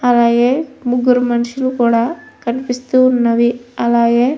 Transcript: అలాగే ముగ్గురు మనుషులు కూడా కనిపిస్తూ ఉన్నారు. అలాగే --